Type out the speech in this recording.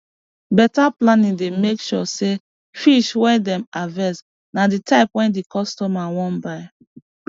beta planning dey make sure say fish wey dem harvest na di type wey di customer wan buy